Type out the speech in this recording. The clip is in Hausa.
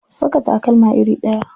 Ku saka takalma iri ɗaya.